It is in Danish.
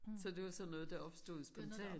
Så det var sådan noget der opstod spontant?